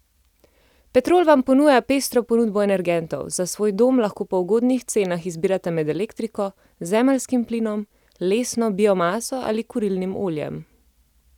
Petrol vam ponuja pestro ponudbo energentov, za svoj dom lahko po ugodnih cenah izbirate med elektriko, zemeljskim plinom, lesno biomaso ali kurilnim oljem.